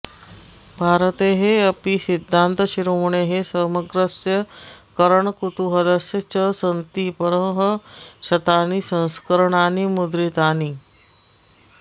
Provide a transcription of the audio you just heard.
भारतेऽपि सिद्धान्तशिरोमणेः समग्रस्य करणकुतूहलस्य च सन्ति परःशतानि संस्करणानि मुद्रितानि